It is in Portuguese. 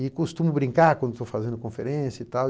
E costumo brincar quando estou fazendo conferência e tal.